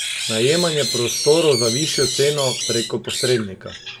Najemanje prostorov za višjo ceno prek posrednika.